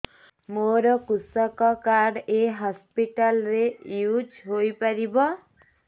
ମୋର କୃଷକ କାର୍ଡ ଏ ହସପିଟାଲ ରେ ୟୁଜ଼ ହୋଇପାରିବ